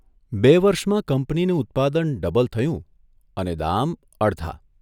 બે વર્ષમાં કંપનીનું ઉત્પાદન ડબલ થયું અને દામ અડધા.